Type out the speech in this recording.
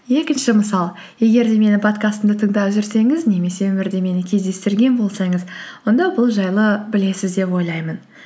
екінші мысал егер де менің подкастымды тыңдап жүрсеңіз немесе өмірде мені кездестірген болсаңыз онда бұл жайлы білесіз деп ойлаймын